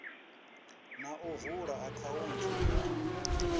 na u vula akhaunthu ya